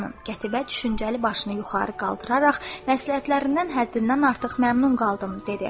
Qətibə düşüncəli başını yuxarı qaldıraraq, məsləhətlərindən həddindən artıq məmnun qaldım dedi.